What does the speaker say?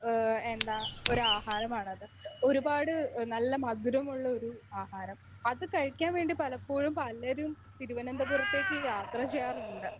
Speaker 1 ഏഹ് എന്താ ഒരാഹാരമാണത് എഹ് ഒരുപാട് നല്ല മധുരമുള്ളൊരു ആഹാരം. അത് കഴിക്കാൻ വേണ്ടി പലപ്പോഴും പലരും തിരുവനന്തപുറത്തേക്ക് യാത്ര ചെയ്യാറുണ്ട്.